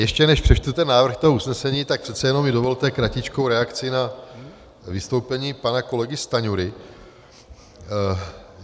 Ještě než přečtu ten návrh toho usnesení, tak přece jenom mi dovolte kratičkou reakci na vystoupení pana kolegy Stanjury.